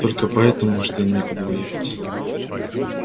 только поэтому что им некуда уехать